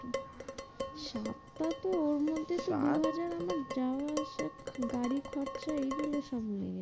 সাতটা তো ওর মধ্যে চার হাজার আমার যাওয়া আসা গাড়ি খরচা এই গুলো সব নিয়ে।